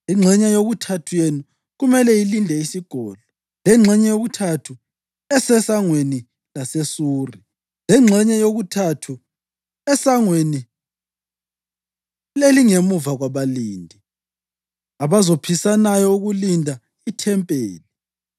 lengxenye yokuthathu eseSangweni laseSuri, lengxenye yokuthathu esangweni elingemuva kwabalindi, abazophisanayo ukulinda ithempeli,